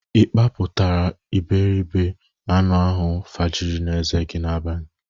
Ị kpapụtara iberibe anụ ahụ faragi n'eze n'abalị?